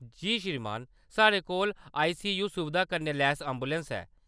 जी श्रीमान ! साढ़े कोल आईसीयू सुविधा कन्नै लैस ऐंबुलैंस है।